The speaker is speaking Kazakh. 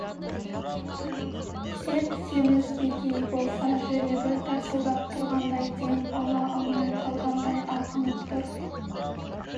сеп-семіз бекей болса жүрегі тарсылдап тұрғандай дем ала алмай қалғандай алқынып тұр